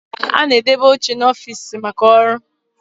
A na-edebe oche n'ọfiisi maka ọrụ